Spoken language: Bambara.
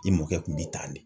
I mɔkɛ kun b'i tan de.